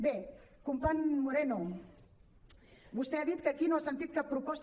bé company moreno vostè ha dit que aquí no ha sentit cap proposta